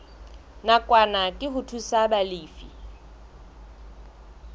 nakwana ke ho thusa balefi